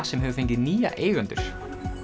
sem hefur fengið nýja eigendur